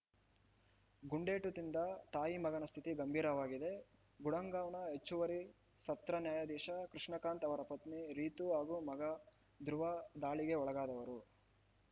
ಗುಂಡೇಟು ತಿಂದ ತಾಯಿಮಗನ ಸ್ಥಿತಿ ಗಂಭೀರವಾಗಿದೆ ಗುಡಗಾಂವ್‌ನ ಹೆಚ್ಚುವರಿ ಸತ್ರ ನ್ಯಾಯಾಧೀಶ ಕೃಷ್ಣಕಾಂತ್‌ ಅವರ ಪತ್ನಿ ರೀತು ಹಾಗೂ ಮಗ ಧ್ರುವ ದಾಳಿಗೆ ಒಳಗಾದವರು